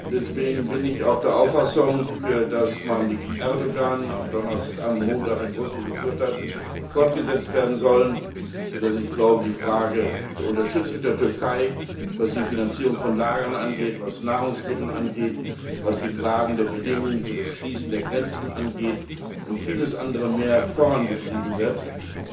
Deswegen bin ich auch der Auffassung, dass die Gespräche, die Präsident Erdoğan am Montag in Brüssel geführt hat, fortgesetzt werden sollen und dass die Frage der Unterstützung der Türkei, was die Finanzierung von Lagern angeht, was Nahrungsmittel angeht, was die Frage der Bedingungen für das Schließen der Grenzen angeht und vieles andere mehr, vorangetrieben werden soll.